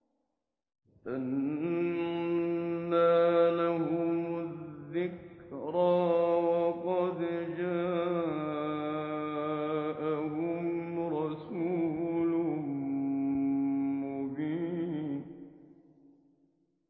أَنَّىٰ لَهُمُ الذِّكْرَىٰ وَقَدْ جَاءَهُمْ رَسُولٌ مُّبِينٌ